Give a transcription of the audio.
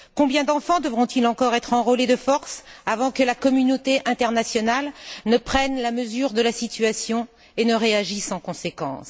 Combien d'enfants devront encore être enrôlés de force avant que la communauté internationale ne prenne la mesure de la situation et ne réagisse en conséquence?